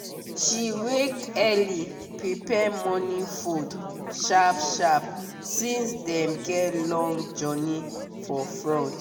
she wake early prepare morning food sharp sharp since dem get long journey for front.